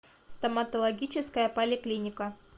стоматологическая поликлиника